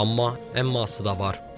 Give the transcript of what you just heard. Amma əmması da var.